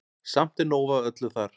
Samt er nóg af öllu þar.